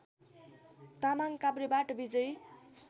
तामाङ काभ्रेबाट विजयी